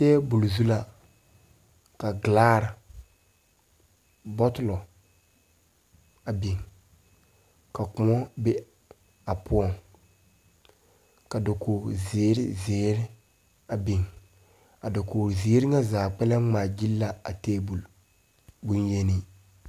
Teebul zu la ka ɡelaare bɔtulɔ a biŋ ka kõɔ be a poɔŋ ka dakoɡiziirziiri a biŋ a dakoɡiziiri ŋa zaa ŋmaaɡyili la a teebul bonyeni.